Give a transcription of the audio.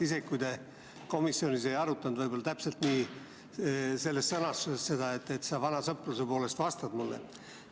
Isegi kui te komisjonis ei arutanud seda täpselt selles sõnastuses, siis sa ehk vana sõpruse poolest vastad mulle.